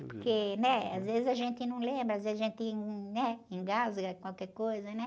Porque, né? Às vezes a gente não lembra, às vezes a gente, né? Engasga qualquer coisa, né?